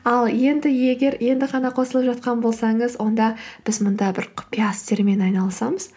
ал енді егер енді ғана қосылып жатқан болсаңыз онда біз мұнда бір құпия істермен айналысамыз